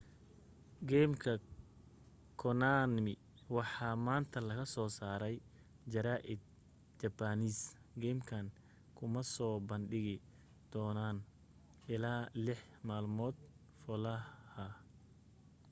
geemka konami waxaa maanta laga soo saaray jara'idka japanese geemkan kuma soo bandhigi doonana ilaa lex malmood falluhah